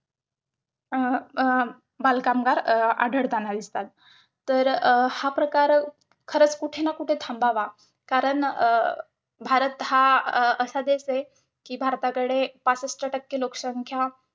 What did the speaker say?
अं अं बालकामगार अं आढळतांना दिसतात, तर हा प्रकार खरचं कुठेना कुठे थांबावा कारण, अं भारत हा अं असा देश आहे कि भारताकडे पासष्ट टक्के लोकसंख्या